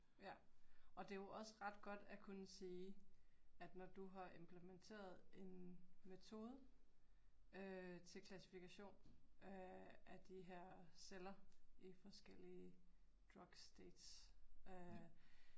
Ja. Og det jo også ret godt at kunne sige, at når du har implementeret en metode øh til klassifikation øh af de her celler i forskellige drug states øh